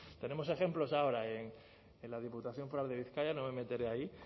tenemos ejemplos ahora en la diputación foral de bizkaia no me meteré ahí